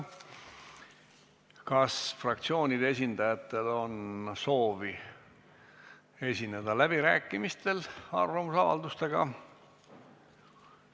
Kas fraktsioonide esindajatel on soovi esineda läbirääkimistel arvamusavaldustega?